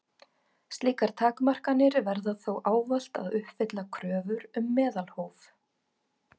Slíkar takmarkanir verða þó ávallt að uppfylla kröfur um meðalhóf.